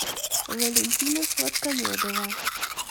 валентина сладкомедова